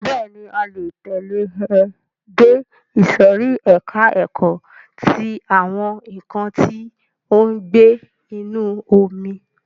Bẹ́ẹ̀ni, ẹ le tẹ̀lẹ́ ẹ dé ìsòrí ẹka ẹ̀kọ́ ti àwọn nǹkan tí ó ń gbé inú omi.